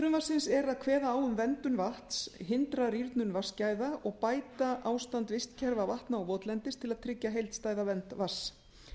frumvarpsins er að kveða á um verndun vatns hindra rýrnun vatnsgæða og bæta ástand vistkerfa vatna votlendis til að tryggja heildstæða vernd vatns